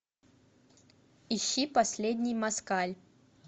ищи последний москаль